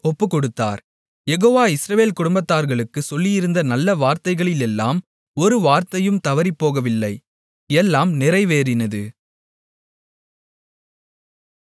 யெகோவா இஸ்ரவேல் குடும்பத்தார்களுக்குச் சொல்லியிருந்த நல்ல வார்த்தைகளிலெல்லாம் ஒரு வார்த்தையும் தவறிப்போகவில்லை எல்லாம் நிறைவேறினது